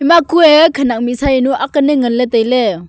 ema ku a khenek mihsa jawnu aak lal ngan ley tailey.